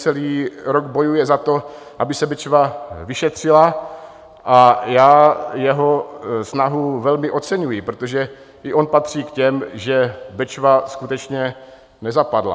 Celý rok bojuje za to, aby se Bečva vyšetřila, a já jeho snahu velmi oceňuji, protože i on patří k těm, že Bečva skutečně nezapadla.